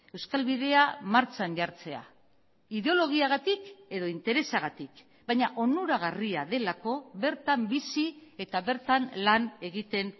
euskal bidea martxan jartzea ideologiagatik edo interesagatik baina onuragarria delako bertan bizi eta bertan lan egiten